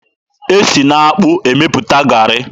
E si n'akpụ emepụta garị.